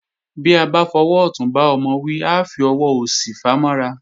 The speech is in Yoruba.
Bí a bá fọwọ́ ọ̀tún bá ọmọ wí, a fi ọwọ́ òsì fàá mọ́ra